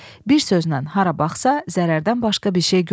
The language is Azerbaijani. Bir sözlə hara baxsa zərərdən başqa bir şey görmürdü.